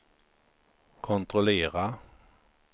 kontrollera